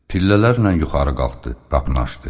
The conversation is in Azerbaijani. Pillələrlə yuxarı qalxdı, qapını açdı.